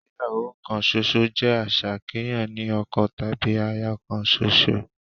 Ìgbéyàwó kan ṣoṣo jẹ́ àṣà kéèyàn ní ọkọ tàbí aya kan ṣoṣo